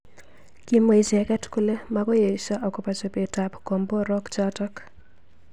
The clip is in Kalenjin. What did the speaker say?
Kimwa icheket kole makoi esho akobo chobet ab komborok chotok.